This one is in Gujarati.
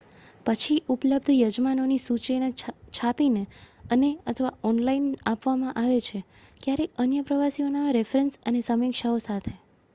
પછી ઉપલબ્ધ યજમાનોની સૂચિને છાપીને અને/અથવા ઑનલાઇન આપવામાં આવે છે ક્યારેક અન્ય પ્રવાસીઓના રેફરન્સ અને સમીક્ષાઓ સાથે